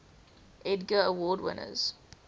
edgar award winners